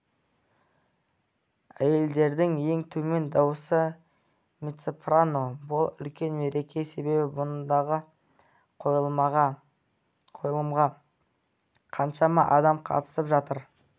әйелдердің ең төмен дауысы мецо-сапроно бұл үлкен мереке себебі мұндағы қойылымға қаншама адам қатысып жатыр